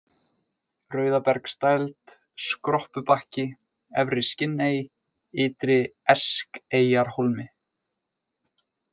Rauðabergsdæld, Skroppubakki, Efri-Skinney, Ytri-Eskeyjarhólmi